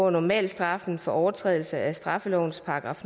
at normalstraffen for overtrædelse af straffelovens §